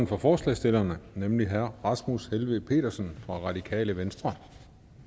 for forslagsstillerne nemlig herre rasmus helveg petersen fra radikale venstre